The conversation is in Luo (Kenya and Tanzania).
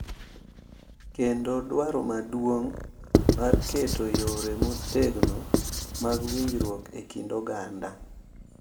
Kendo dwaro maduong’ mar keto yore motegno mag riwruok e kind oganda.